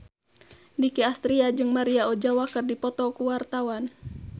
Nicky Astria jeung Maria Ozawa keur dipoto ku wartawan